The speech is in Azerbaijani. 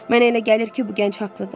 Mənə elə gəlir ki, bu gənc haqlıdır.